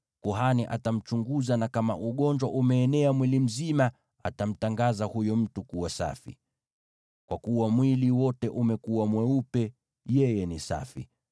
kuhani atamchunguza, na kama ugonjwa umeenea mwili mzima, atamtangaza huyo mtu kuwa safi. Kwa kuwa mwili wote umekuwa mweupe, yeye ni safi.